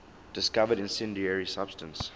discovered incendiary substance